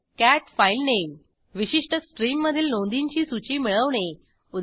cat filename विशिष्ट स्ट्रीममधील नोंदींची सूची मिळवणे उदा